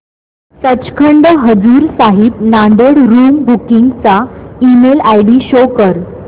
Sachkhand Hazur Sahib Nanded room booking चा email ID show कर